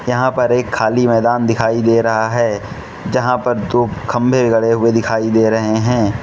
यहां पर एक खाली मैदान दिखाई दे रहा है जहां पर दो खंभे गड़े हुए दिखाई दे रहे हैं।